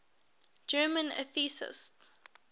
german atheists